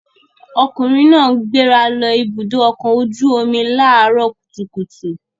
Ọkùnrin náà gbéra lọ Ibùdó-ọkọ̀ ojú-omi láàárọ̀ kùtùkùtù.